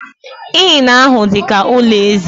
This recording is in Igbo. Inn ahụ dị ka ụlọ eze.